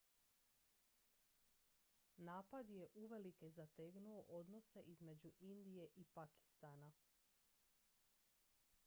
napad je uvelike zategnuo odnose između indije i pakistana